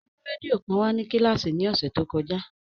O mu rẹdio kan wa si kíláàsì ni ọsẹ to kọja.